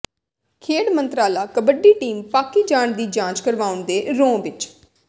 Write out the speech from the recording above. ਖੇਡ ਮੰਤਰਾਲਾ ਕਬੱਡੀ ਟੀਮ ਪਾਕਿ ਜਾਣ ਦੀ ਜਾਂਚ ਕਰਵਾਉਣ ਦੇ ਰੌਂਅ ਵਿੱਚ